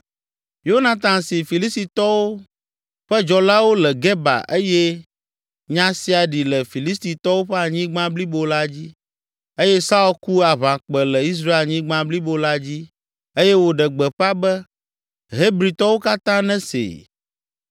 Yonatan si Filistitɔwo ƒe dzɔlawo le Geba eye nya sia ɖi le Filistitɔwo ƒe anyigba blibo la dzi. Eye Saul ku aʋakpẽ le Israelnyigba blibo la dzi eye wòɖe gbeƒã be “Hebritɔwo katã nesee.”